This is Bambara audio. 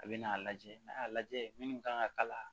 A bɛ n'a lajɛ n'a y'a lajɛ minnu kan ka k'a la